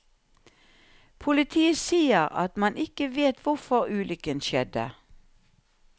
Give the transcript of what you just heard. Politiet sier at man ikke vet hvorfor ulykken skjedde.